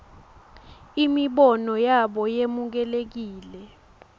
imibono yabo yemukelekile